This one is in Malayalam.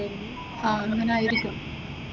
ആഹ് അങ്ങനെ ആയിരിക്കും.